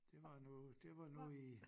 Det var nu det var nu i